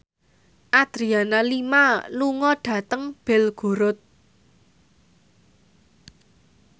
Adriana Lima lunga dhateng Belgorod